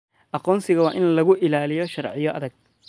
Aqoonsiga waa in lagu ilaaliyo sharciyo adag.